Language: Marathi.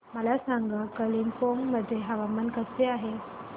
मला सांगा कालिंपोंग मध्ये हवामान कसे आहे